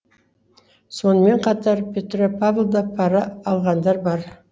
сонымен қатар петропавлда пара алғандар бар